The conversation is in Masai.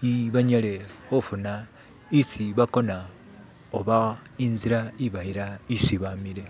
ne banyale hufuna isi bakona oba inzila ibayila isi bamile